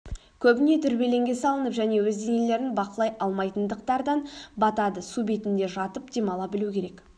көбіне дүрбелеңге салынып және өз денелерін бақылай алмайтындықтардан батады су бетінде жатып демала білу керек